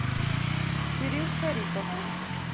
кирилл шарипов